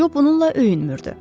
Co bununla öyünmürdü.